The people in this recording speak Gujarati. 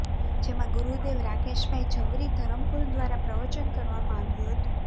જેમાં ગુરુદેવ રાકેશભાઇ ઝવરી ધરમપુર દ્વારા પ્રવચન કરવામાં આવ્યું હતું